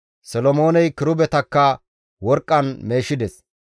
Solomooney kirubetakka worqqan meeshides.